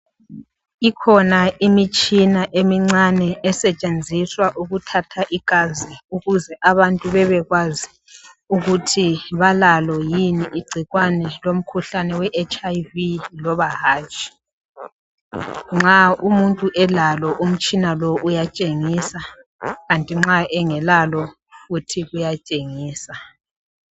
Ikhona imitshina emincane esetshenziswa ukuthatha igazi ukuze abantu bebekwazi ukuthi balalo yini igcikwane lomkhuhlane weHIV loba hatshi. Nxa umuntu elalo umtshina lo uyatshengisa kanti nxa engelalo futhi kuyatshengisa.